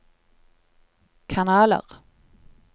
kanaler